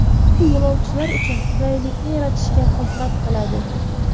Bu yo‘lovchilar uchun qulaylikni yaratishga xizmat qiladi.